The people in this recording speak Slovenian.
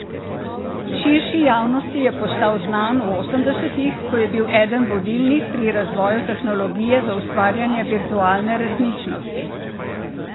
Širši javnosti je postal znan v osemdesetih, ko je bil eden vodilnih pri razvoju tehnologije za ustvarjanje virtualne resničnosti.